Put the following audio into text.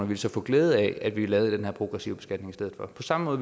ville så få glæde af at vi lavede den her progressive beskatning i stedet for på samme måde